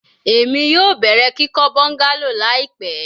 Emi yoo bẹrẹ kikọ bungalow laipẹ